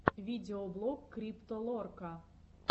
видеоблог крипто лорка